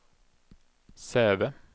Säve